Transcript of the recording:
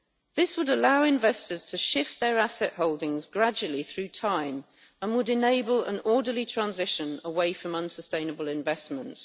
This would allow investors to shift their asset holdings gradually through time and would enable an orderly transition away from unsustainable investments.